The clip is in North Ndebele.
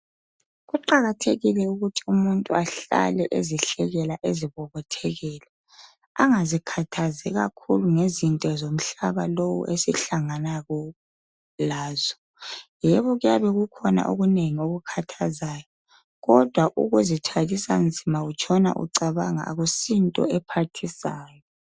Kuqakathekile ukuthi umuntu ahlale ezihlekela ezibobothekela angazikhathazi kakhulu ngezinto zomhlana lowu esihlangana lazo yebo kuyabekukhona okunengi okukathazayo kodwa ukuzithwalusa nzima utshona ucabanga akusinto ephathisayo.